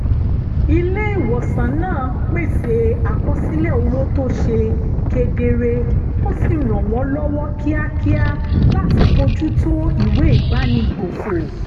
ilé-ìwòsàn náà pèsè àkọsílẹ̀ owó tó ṣe kedere ó sì ràn wọ́n lọ́wọ́ kíákíá láti bójú tó ìwé ìbánigbófò